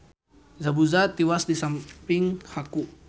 Zabuza tiwas disamping Haku